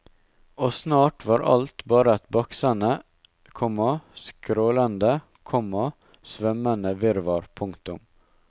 Og snart var alt bare et baksende, komma skrålende, komma svømmende virvar. punktum